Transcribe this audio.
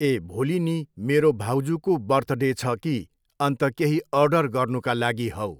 ए भोलि नि मेरो भाउजूको बर्थडे छ कि अन्त केही अर्डर गर्नुका लागि हौ